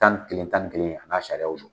Tan ni kelen tan ni kelen an'a sariyaw don.